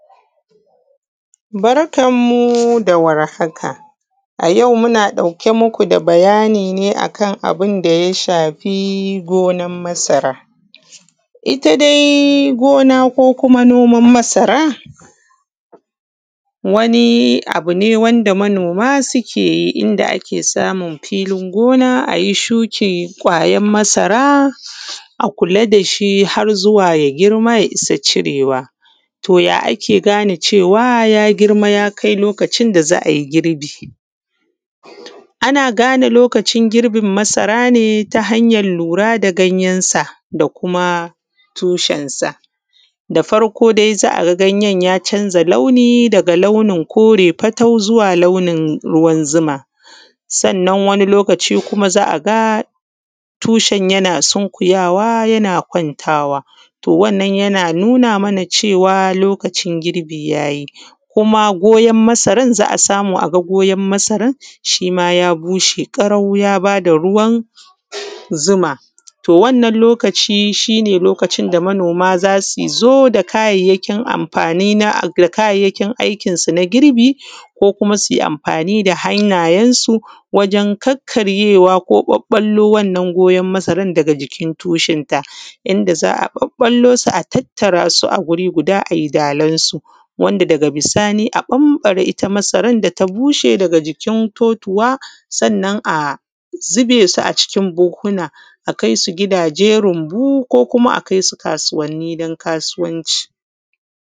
Barkan mu da warhaka. A yau muna ɗauke muku da bayani ne a kan abun da shafi goman masara. Ita dai gona Ko kuma noman masara wani abune wanda manoma sukeyi inda a ke samun filin gona ayi shukin kwayan masara a a kula dashi har zuwa ya girma ya isa cirewa. To ya ake gane cewa ya girma yakai lokacin da za’ai girbi? Ana gane lokacin girbin marasa ne ta hanyan lura da ganyen sa da kuma tushen sa. Da farko dai za’a ganyen ya chanza launi daga launin kore fatau zuwa launin ruwan zuma. Sannan wani lokaci kuma za’aga tushen yana sunkuyawa yana kwantawa to wannan yana nuna mana cewa lokacin girbi yayi kuma goyon masaran za’a samu a goyon masaran shima ya bushe karau yabada ruwan zuma to wannan lokaci ne lokacin da manoma zasuzo da kayayyakin aikin su na girbi ko kuma suyi amfani da hannanyen su wajen kakkareyewa ko ɓaɓɓallo wannan goyan masaran daga jikin tushen ta inda za’a babbalusu a tattarasu wuri guda ai dalan su, su bushe daga jikin totuwa sannan a zubesu a buhuhuwa a kaisu gidaje runbu ko kuma a kaisu kasuwanni dan kasuwanci.